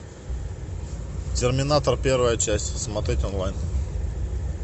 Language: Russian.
терминатор первая часть смотреть онлайн